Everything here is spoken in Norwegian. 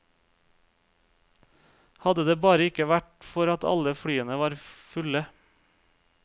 Hadde det bare ikke vært for at alle flyene var fulle.